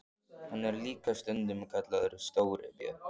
Hann er líka stundum kallaður Stóri björn.